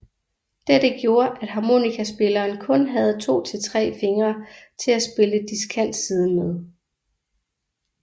Dette gjorde at harmonikaspilleren kun havde 2 til 3 fingre til at spille diskantsiden med